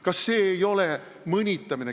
Kas see ei ole mõnitamine?